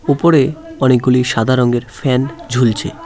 উপরে অনেকগুলি সাদা রঙের ফ্যান ঝুলছে।